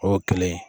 O ye kelen ye